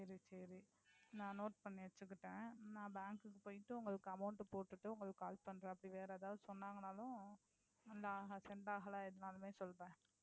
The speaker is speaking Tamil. சரி சரி நான் Note பண்ணி வச்சிக்கிட்டேன். நான் Bank க்கு போயிட்டு உங்களுக்கு Amount போட்டிட்டு உங்களுக்கு Call பண்ணறேன். அப்படி வேற எதாவது சொன்னாங்கன்னாலும் Sent ஆகலை எதுனாலுமே சொல்லறேன்.